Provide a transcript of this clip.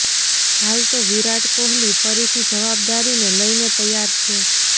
હાલ તો વિરાટ કોહલી ફરીથી જવાબદારીને લઇને તૈયાર છે